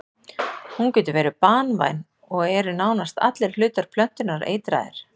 Hún getur verið banvæn og eru nánast allir hlutar plöntunnar eitraðir.